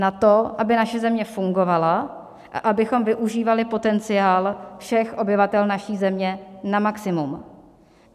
Na to, aby naše země fungovala a abychom využívali potenciál všech obyvatel naší země na maximum.